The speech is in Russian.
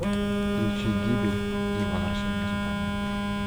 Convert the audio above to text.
включи гибель и возвращение супермена